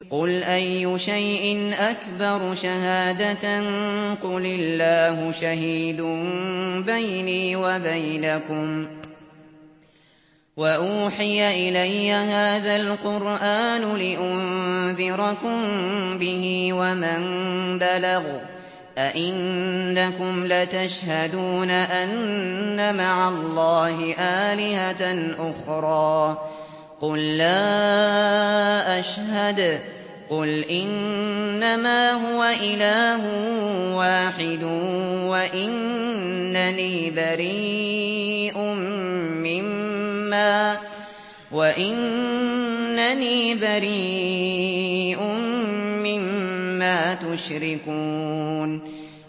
قُلْ أَيُّ شَيْءٍ أَكْبَرُ شَهَادَةً ۖ قُلِ اللَّهُ ۖ شَهِيدٌ بَيْنِي وَبَيْنَكُمْ ۚ وَأُوحِيَ إِلَيَّ هَٰذَا الْقُرْآنُ لِأُنذِرَكُم بِهِ وَمَن بَلَغَ ۚ أَئِنَّكُمْ لَتَشْهَدُونَ أَنَّ مَعَ اللَّهِ آلِهَةً أُخْرَىٰ ۚ قُل لَّا أَشْهَدُ ۚ قُلْ إِنَّمَا هُوَ إِلَٰهٌ وَاحِدٌ وَإِنَّنِي بَرِيءٌ مِّمَّا تُشْرِكُونَ